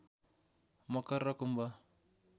मकर र कुम्भ